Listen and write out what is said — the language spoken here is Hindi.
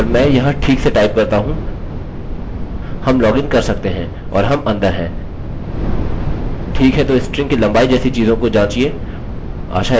हम लॉगिन कर सकते हैं और हम अंदर हैं ठीक है तो स्ट्रिंग की लम्बाई जैसी चीज़ों को जाँचिये